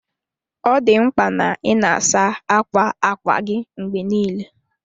Ọ dị mkpa na ị na-asa ákwà ákwá gị mgbe niile.